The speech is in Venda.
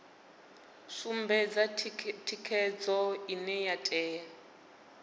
sumbedza thikhedzo ine ya tea